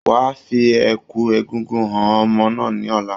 Wa fi ẹ̀kú egúngún han ọmọ náà ní ọ̀la.